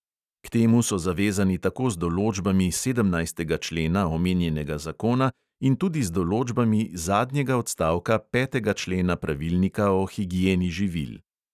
K temu so zavezani tako z določbami sedemnajstega člena omenjenega zakona in tudi z določbami zadnjega odstavka petega člena pravilnika o higieni živil.